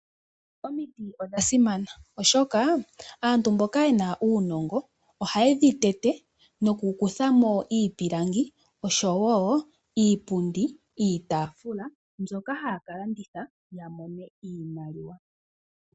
Omiti odha simana oshoka antu mboka ye na uunongo ohaye dhi tete noku kutha mo iipilangi osho wo iipundi niitaafula mbyoka haya ka landitha ya mone iimaliwa.